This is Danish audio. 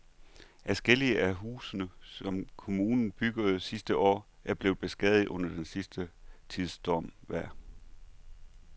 Adskillige af de huse, som kommunen byggede sidste år, er blevet beskadiget under den sidste tids stormvejr.